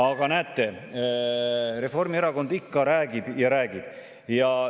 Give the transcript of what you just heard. Aga näete, Reformierakond ikka räägib ja räägib.